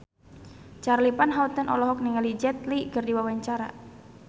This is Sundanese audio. Charly Van Houten olohok ningali Jet Li keur diwawancara